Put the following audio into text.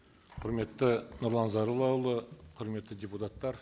құрметті нұрлан зайроллаұлы құрметті депутаттар